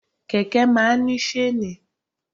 Kẹ̀kẹ́ máa ń ní ṣéènì.